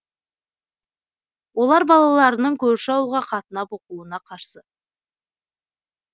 олар балаларының көрші ауылға қатынап оқуына қарсы